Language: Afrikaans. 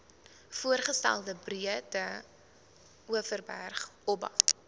voorgestelde breedeoverberg oba